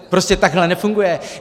Prostě takhle nefunguje.